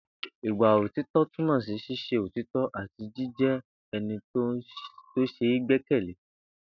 Ìwà òtító̩ túmò̩ sí s̩ís̩e òtító̩ àti jíjé̩ e̩ni tó s̩e é gbé̩kè̩lé